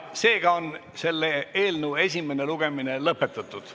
Seega on selle eelnõu esimene lugemine lõpetatud.